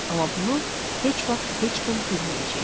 Amma bunu heç vaxt heç kim bilməyəcəkdi.